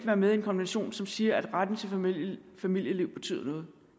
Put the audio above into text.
er med i en konvention som siger at retten til familieliv familieliv betyder noget